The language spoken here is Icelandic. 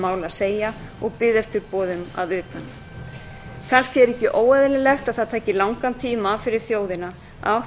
að segja og biðu eftir boðum að utan kannski er ekki óeðlilegt að það taki langan tíma fyrir þjóðina að